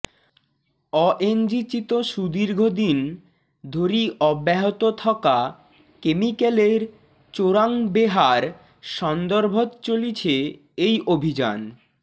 অএনজিচিত সুদীৰ্ঘ দিন ধৰি অব্যাহত থকা কেমিকেলৰ চোৰাং বেহাৰ সন্দৰ্ভত চলিছে এই অভিযান